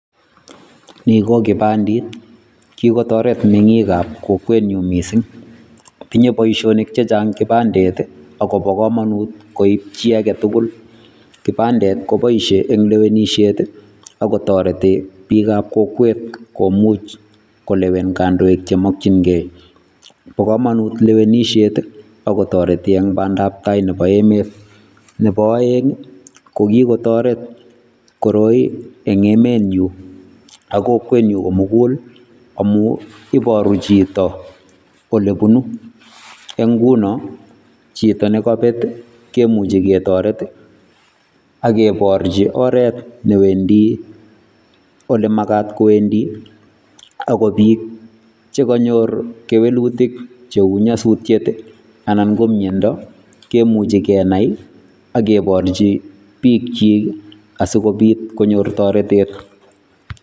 Nii ko kipandet kikotoret meng'ikab kokwenyun mising, tinye boishonik chechang kipandet akobokomonut koib chii aketukul, kipandet kopoishen en lewenishet ak kotoreti biikab kokwet kolewen kondoik chemokying'ee, bokomonut lewenishet ak kotoreti en bandab taai nebo emet, nebo oeng ko kikotoret koroi eng emenyun ak kokwenyun komukul amun iboru chito olebunu, ko ng'unon chito nekobet kimuche ketoret ak kebirchi oreet olemakat kowendi ak ko biik chekonyor kewelutik cheu nyosutiet anan ko miondo kimuchi kenai ak kiborchi biikyik asikobit konyor toretet.